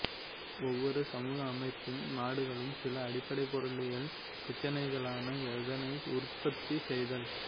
ஒவ்வொரு சமூக அமைப்பும் நாடுகளும் சில அடிப்படை பொருளியல் பிரச்சனைகளான எதனை உற்பத்தி செய்தல்